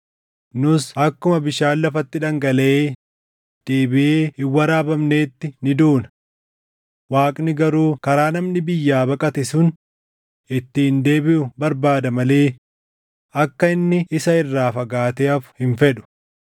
Nus akkuma bishaan lafatti dhangalaʼee deebiʼee hin waraabamneetti ni duuna. Waaqni garuu karaa namni biyyaa baqate sun ittiin deebiʼu barbaada malee akka inni isa irraa fagaatee hafu hin fedhu.